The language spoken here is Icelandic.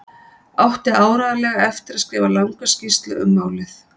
Átti áreiðanlega eftir að skrifa langa skýrslu um málið.